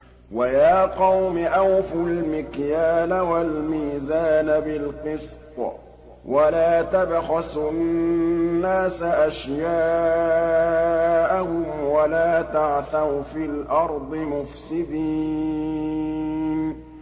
وَيَا قَوْمِ أَوْفُوا الْمِكْيَالَ وَالْمِيزَانَ بِالْقِسْطِ ۖ وَلَا تَبْخَسُوا النَّاسَ أَشْيَاءَهُمْ وَلَا تَعْثَوْا فِي الْأَرْضِ مُفْسِدِينَ